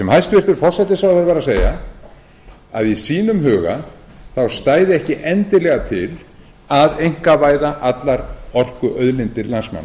hæstvirtur forsætisráðherra var að segja var að í sínum huga stæði ekki endilega til að einkavæða allar orkuauðlindir landsmanna